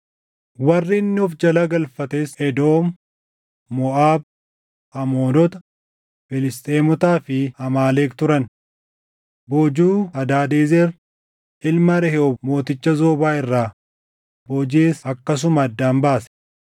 Warri inni of jala galfates Edoom, Moʼaab, Amoonota, Filisxeemotaa fi Amaaleq turan. Boojuu Hadaadezer ilma Rehoob mooticha Zoobaa irraa boojiʼes akkasuma addaan baase.